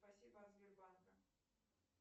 спасибо от сбербанка